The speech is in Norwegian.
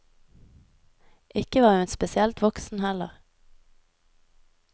Ikke var hun spesielt voksen heller.